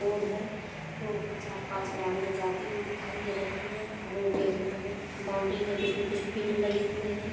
Road है road मे चार-पाँच गाड़ियां जाती हुई दिखाई दे रही हैं रोड के किनारे बाउंड्री मे कुछ न कुछ पेड़ लगे हुए हैं।